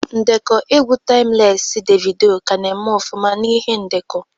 Ndekọ egwu taimlesi Devido ka na-eme ọfụma na ihe ndekọ